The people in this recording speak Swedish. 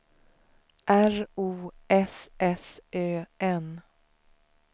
R O S S Ö N